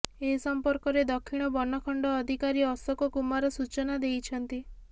ଏ ସଂପର୍କରେ ଦକ୍ଷିଣ ବନଖଣ୍ଡ ଅଧିକାରୀ ଅଶୋକ କୁମାର ସୂଚନା ଦେଇଛନ୍ତି